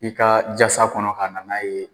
I ka jasa kɔnɔ ka nana ye